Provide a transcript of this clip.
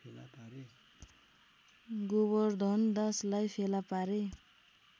गोबर्धनदासलाई फेला पारे